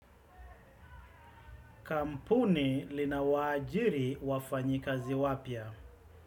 Kampuni lina waajiri wafanyikazi wapya?